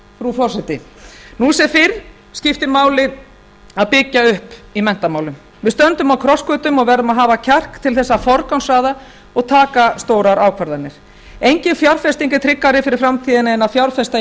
frú forseti nú sem fyrr skiptir máli að byggja upp í menntamálum við stöndum á krossgötum og verðum að hafa kjark til þess að forgangsraða og taka stórar ákvarðanir engin fjárfesting er tryggari fyrir framtíðina en að fjárfesta í